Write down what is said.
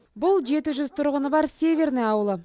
бұл жеті жүз тұрғыны бар северный ауылы